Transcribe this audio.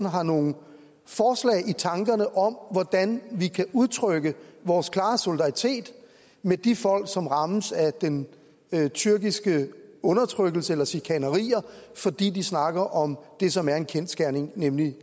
har nogle forslag i tankerne om hvordan vi kan udtrykke vores klare solidaritet med de folk som rammes af den tyrkiske undertrykkelse eller af chikanerier fordi de snakker om det som er en kendsgerning nemlig